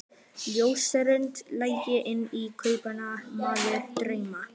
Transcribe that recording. Ljósrönd lagði inn í kompuna meðfram dyrunum.